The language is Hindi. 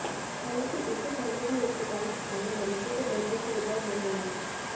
हालांकि इससे पहले भी अस्पताल में मरीजों को बेहतर सुविधाएं मिल रही हैं